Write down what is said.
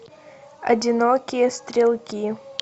одинокие стрелки